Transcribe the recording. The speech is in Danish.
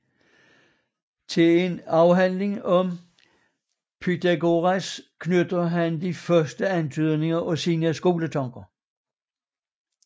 Til en afhandling om Pythagoras knytter han de første antydninger af sine skoletanker